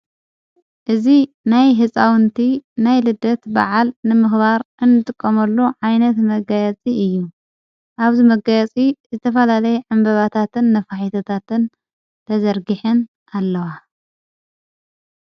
እዝ ናይ ሕፃውንቲ ናይ ልደት በዓል ንምኽባር እንትቆመሉ ዓይነት መጋየፂ እዩ ኣብዘ መጋያፂ ዝተፋላለይ ዕምበባታትን ነፋሒትታትን ተዘርጊሐን ኣለዋ::